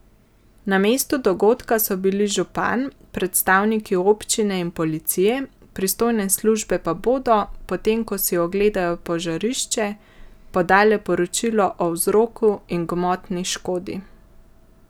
Na mestu dogodka so bili župan, predstavniki občine in policije, pristojne službe pa bodo, potem ko si ogledajo požarišče, podale poročilo o vzroku in gmotni škodi.